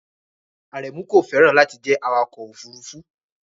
Aremu kò fẹ́ràn láti jẹ́ awakọ̀ òfurufú